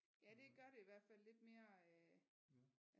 Ja det gør det i hvert fald lidt mere øh